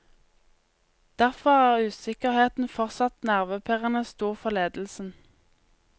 Derfor er usikkerheten fortsatt nervepirrende stor for ledelsen.